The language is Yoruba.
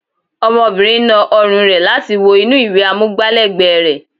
Ọmọbìnrin na ọrùn rẹ̀ láti wo inú ìwé amúgbá lẹ́ẹ̀gbẹ́ rẹ̀